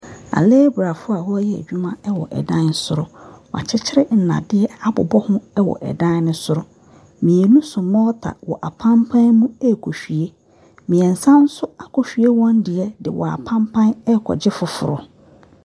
Alebra fo na ɔmo yɛ adwuma ɛwɔ ɛdan soro. W'akyi kyire nnadeɛ abobɔ ho ɛwɔ ɛdan soro. Mmienu so mɔta ɛwɔ apanpan mu ɛkɔ hwie. Mmiensa nso ako hwie wɔn die de apanpan ɛkɔ gye foforɔ.